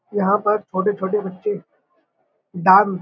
यहाँ पर छोटे-छोटे बच्चे डांस --